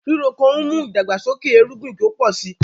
Rírò oko n mú idàgbàsókè èrùgbìn kí o pọ̀ sí.